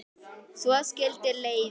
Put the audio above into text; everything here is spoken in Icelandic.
Svo skildu leiðir.